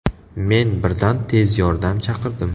Men birdan tez yordam chaqirdim.